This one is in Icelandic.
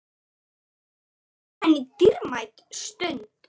Það var henni dýrmæt stund.